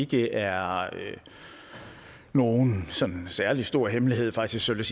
det er nogen sådan særlig stor hemmelighed faktisk vil